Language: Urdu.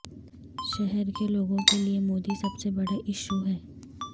شہر کے لوگوں کے لیے مودی سب سے بڑا اشو ہے